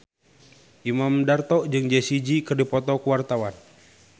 Imam Darto jeung Jessie J keur dipoto ku wartawan